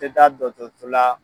Tɛ taa dɔtɔ so la.